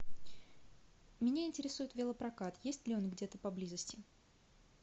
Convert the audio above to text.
меня интересует велопрокат есть ли он где то поблизости